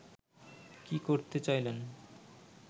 কী করতে চাইলেন